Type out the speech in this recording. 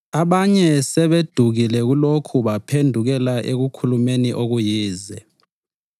Abanye sebedukile kulokhu baphendukela ekukhulumeni okuyize.